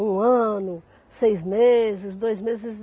Um ano, seis meses, dois meses.